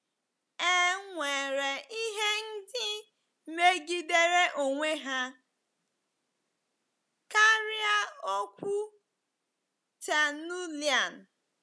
E nwere ihe ndị megidere onwe ha karịa okwu Tertullian.